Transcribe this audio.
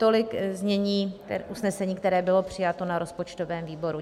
Tolik znění usnesení, které bylo přijato na rozpočtovém výboru.